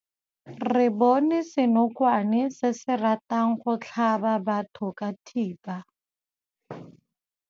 Re bone senokwane se se ratang go tlhaba batho ka thipa.